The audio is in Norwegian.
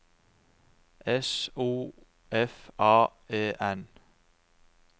S O F A E N